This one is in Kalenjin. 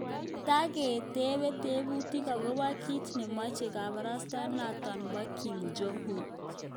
Tagetebe tebutiik agobo kiit nemeche kabarastaenoto bo Kim Jong Un